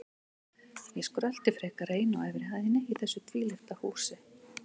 Ég skrölti frekar ein á efri hæðinni í þessu tvílyfta húsi.